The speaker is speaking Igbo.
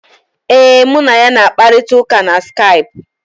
Ee, mụ na ya na-akparịta ụka na Skaipụ.